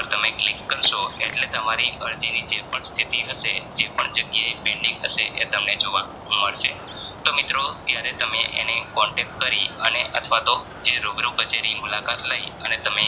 તમે click કરસો એટલે તમારી અરજીની જેપણ સ્થિતિ હશે જેપણ જગ્યાએ pending હશે એ તમને જોવા મળશે તો મિત્રો ત્યારે તમે એને Contact કરી અને અથવાતો રૂબરૂ કચેરી મુલાકાત લઇ અને